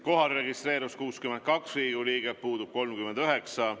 Kohalolijaks registreerus 62 Riigikogu liiget, puudub 39.